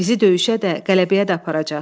Bizi döyüşə də, qələbəyə də aparacaq.